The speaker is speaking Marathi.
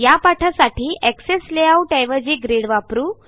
ह्या पाठासाठी एक्सेस लेआउट ऐवजी ग्रिड वापरू